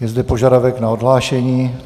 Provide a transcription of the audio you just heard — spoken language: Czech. Je zde požadavek na odhlášení.